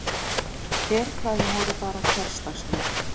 Herklæðin voru bara hversdagsleg.